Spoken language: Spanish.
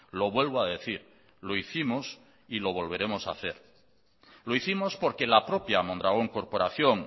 lo vuelvo a decir lo hicimos y lo volveremos a hacer lo hicimos porque la propia mondragón corporación